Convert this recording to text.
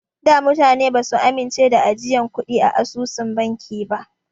Da mutane basu amince da ajiyan kuɗi a asusun banki ba.